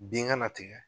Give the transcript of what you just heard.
Bin kana tigɛ